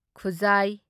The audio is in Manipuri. ꯈꯨꯖꯥꯢ